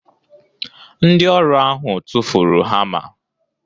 Ndị ọrụ ahụ tụfuru hama